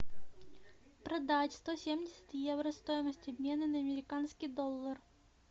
продать сто семьдесят евро стоимость обмена на американский доллар